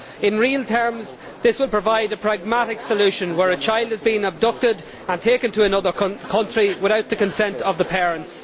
In real terms this will provide a pragmatic solution where a child has been abducted and taken to another country without the consent of the parents.